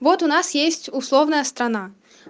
вот у нас есть условная страна